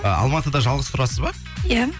ы алматыда жалғыз тұрасыз ба иә